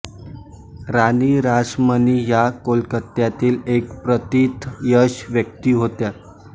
राणी रासमणी या कोलकात्यातील एक प्रतिथयश व्यक्ती होत्या